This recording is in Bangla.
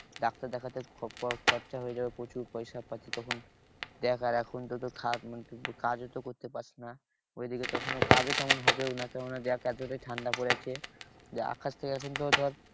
ডাক্তার দেখাতে খরচ হয়ে যাবে প্রচুর পয়সা পাতি। তখন দেখ আর এখন তো তোর মানে তুই কাজও তো করতে পারছিস না ঐদিকে তখন কাজও তেমন হবেও না যা তোদের ঠান্ডা পড়েছে। আকাশ থেকে এখন তো ধর